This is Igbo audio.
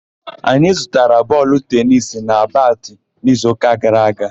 Anyị zụtara bọọlụ tenisi na batị n'izuụka gara aga